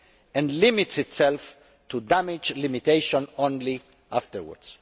and limits itself to damage limitation only afterwards.